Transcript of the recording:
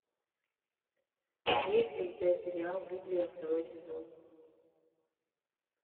есть ли у тебя сериал библия второй сезон